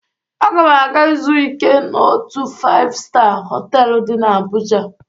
Aga m aga izu ike n'otu faịv-staa họtelụ dị n'Abụja.